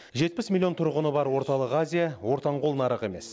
жетпіс миллион тұрғыны бар орталық азия ортаңқол нарық емес